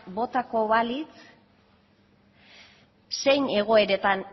botako balitz zein egoeratan